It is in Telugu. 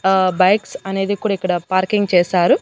ఆ బైక్స్ అనేది కూడా ఇక్కడ పార్కింగ్ చేశారు.